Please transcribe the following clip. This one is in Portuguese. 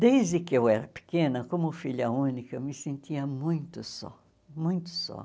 Desde que eu era pequena, como filha única, eu me sentia muito só, muito só.